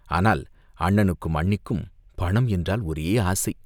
ஆனால் அண்ணனுக்கும் அண்ணிக்கும் பணம் என்றால் ஒரே ஆசை.